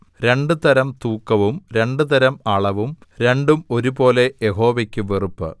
രണ്ടുതരം തൂക്കവും രണ്ടുതരം അളവും രണ്ടും ഒരുപോലെ യഹോവയ്ക്ക് വെറുപ്പ്